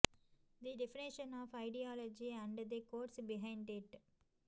the definition of ideology and the course behind it